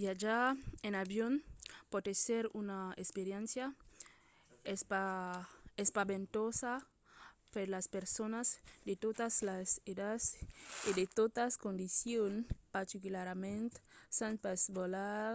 viatjar en avion pòt èsser una experiéncia espaventosa per las personas de totas las edats e de totas condicions particularament s’an pas volat